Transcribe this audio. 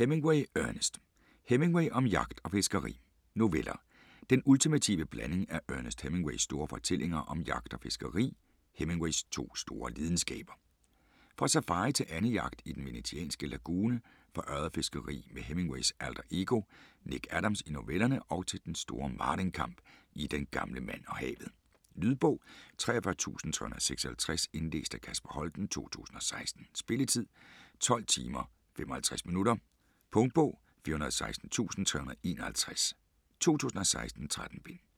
Hemingway, Ernest: Hemingway om jagt og fiskeri Noveller. Den ultimative blanding af Ernest Hemingways store fortællinger om jagt og fiskeri, Hemingways to store lidenskaber. Fra safari til andejagt i den venetianske lagune, fra ørredfiskeri med Hemingways alter ego Nick Adams i novellerne og til den store marlinkamp i "Den gamle mand og havet". Lydbog 43356 Indlæst af Kasper Holten, 2016. Spilletid: 12 timer, 55 minutter. Punktbog 416351 2016. 13 bind.